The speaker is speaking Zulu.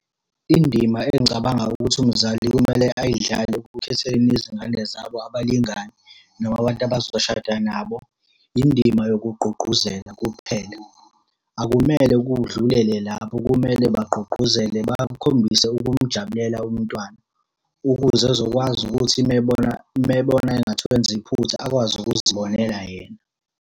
Indima engicabanga ukuthi umzali kumele ayidlale ekukhetheleni izingane zabo abalingani noma abantu abazoshada nabo, indima yokugqugquzela kuphela. Akumele kudlulele lapho kumele bagqugquzele bakhombise ukumujabulela umntwana, ukuze ezokwazi ukuthi uma ebona, uma ebona engathi wenza iphutha akwazi ukuzibonela yena.